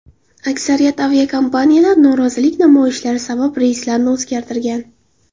Aksariyat aviakompaniyalar norozilik namoyishlari sabab reyslarini o‘zgartirgan.